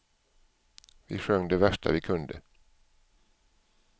Vi sjöng det värsta vi kunde.